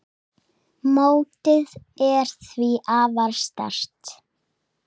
Mótið er því afar sterkt.